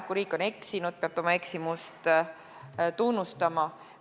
Kui riik on eksinud, peab ta oma eksimust tunnistama.